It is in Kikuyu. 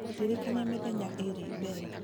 ndirikania mĩthenya ĩĩrĩ mbere